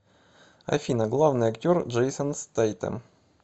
афина главный актер джейсон стэйтем